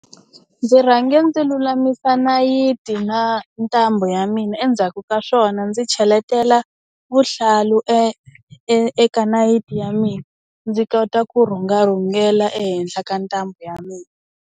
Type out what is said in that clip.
Ndzi rhange ndzi lulamisa nayiti na ntambu ya mina endzhaku ka swona ndzi cheletela vuhlalu eka nayiti ya mina ndzi kota ku rhunga rhungela ehenhla ka ntambu ya mina.